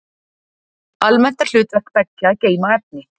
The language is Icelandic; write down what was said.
Almennt er hlutverk beggja að geyma efni.